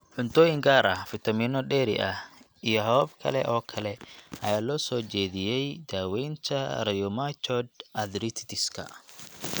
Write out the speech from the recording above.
Cuntooyin gaar ah, fitamiino dheeri ah, iyo habab kale oo kale ayaa loo soo jeediyay daawaynta rheumatoid arthritis-ka.